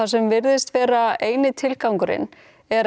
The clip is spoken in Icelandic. sem virðist vera eini tilgangurinn er